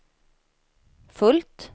fullt